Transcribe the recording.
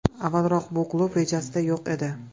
Avvalroq bu klub rejasida yo‘q edi.